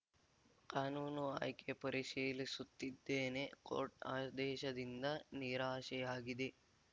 ಕಾನೂನು ಆಯ್ಕೆ ಪರಿಶೀಲಿಸುತ್ತಿದ್ದೇನೆ ಕೋರ್ಟ್‌ ಆದೇಶದಿಂದ ನಿರಾಶೆಯಾಗಿದೆ